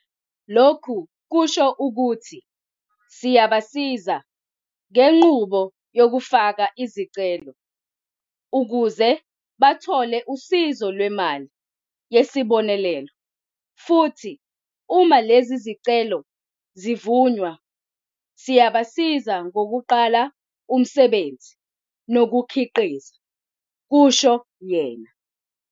Lokhu kusho ukuthi siyabasiza ngenqubo yokufaka izicelo ukuze bathole usizo lwemali yesi bonelelo futhi uma lezi zicelo zivunywa, siyabasiza ngokuqala umsebenzi nokukhiqiza," kusho yena.